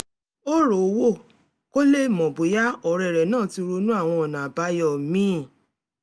ó rowọ́ kó lè mọ̀ bóyá ọ̀rẹ́ rẹ̀ náà ti ronú àwọn ọ̀nà àbáyọ míì